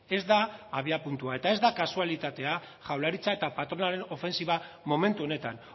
ez da abiapuntua eta ez da kasualitatea jaurlaritza eta patronalen ofentsiba momentu honetan